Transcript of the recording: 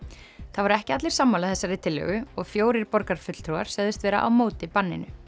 það voru ekki allir sammála þessari tillögu og fjórir borgarfulltrúar sögðust vera á móti banninu